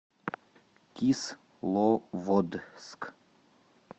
кисловодск